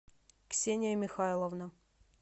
ксения михайловна